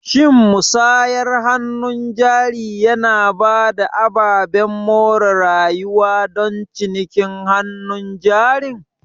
Shin musayar hannun jari yana ba da ababen more rayuwa don cinikin hannun jarin?